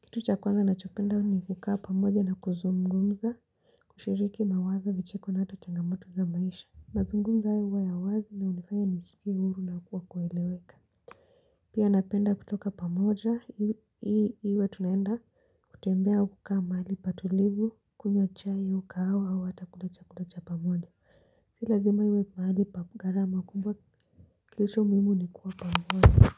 kitu cha kwanza ninachopenda ni kukaa pamoja na kuzungumza kushiriki mawazo vicheko na hata changamoto za maisha mazungumzo haya huwa ya wazi ni hunifaya nisikie huru na kwa kueleweka Pia napenda kutoka pamoja hii hii iwe tunaenda kutembea au kukaa mahali patulivu kunywa chai au kahawa au hata kula chakula cha pamoja si lazima iwe mahali pa gharama kubwa kilichomuhimu ni kuwa pamoja.